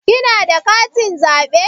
Kina da katin zaɓe?